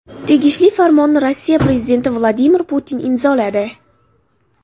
Tegishli farmonni Rossiya prezidenti Vladimir Putin imzoladi.